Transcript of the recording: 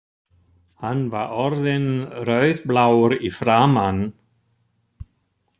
Hann var orðinn rauðblár í framan.